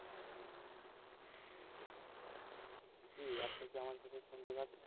জি, আপনি কি আমার কথা শুনতে পারছেন?